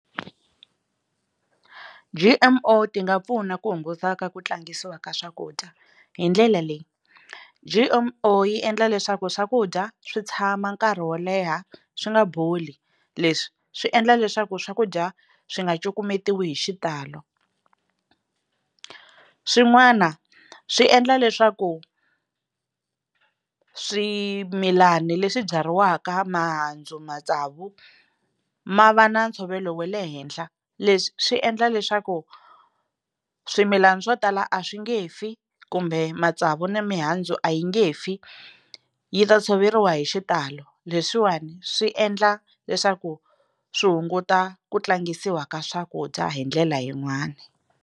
G_M_O ti nga pfuna ku hunguta ka ku tlangisiwa ka swakudya hi ndlela leyi G_M_O yi endla leswaku swakudya swi tshama nkarhi wo leha swi nga boli leswi swi endla leswaku swakudya swi nga cukumetiwi hi xitalo swin'wana swi endla leswaku swimilana leswi byariwaka mihandzu matsavu ma va na ntshovelo wa le henhla leswi swi endla leswaku swimilana swo tala a swi nge fi kumbe matsavu na mihandzu a yi nge fi yi ta tshoveriwa hi xitalo leswiwani swi endla leswaku swi hunguta ku tlangisiwa ka swakudya hi ndlela yin'wani.